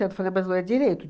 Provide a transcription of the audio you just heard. Eu falei, mas não é direito.